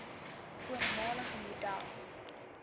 voormalige model